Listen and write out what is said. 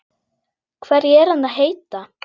Hverju er hann að heita?